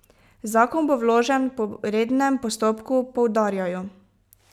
Zakon bo vložen po rednem postopku, poudarjajo.